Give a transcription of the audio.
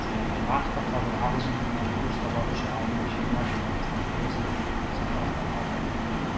яғни нарықта қазір ағылшын тілін курсқа бару үшін айына жиырма жиырма бес отыз мың төлейтін болсаңыз астана алматыда